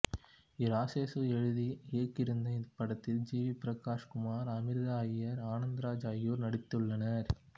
இராசேசு எழுதி இயக்கியிருந்த இந்த படத்தில் ஜி வி பிரகாஷ் குமார் அமிர்தா ஐயர் ஆனந்தராஜ் ஆகியோர் நடித்துள்ளனர்